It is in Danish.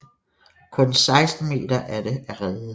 Kun 16 meter af det er reddet